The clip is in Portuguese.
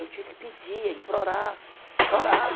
Eu tinha que pedir, implorar, chorar.